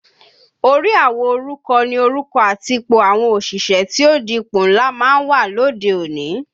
Orí àwo oruko ni orúkọ àti ipò àwọn òṣìṣẹ́ tí ó di ipò ńlá máa ń wà lóde òní